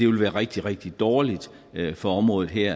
vil være rigtig rigtig dårligt for området her